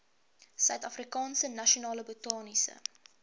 suidafrikaanse nasionale botaniese